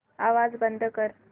आवाज बंद कर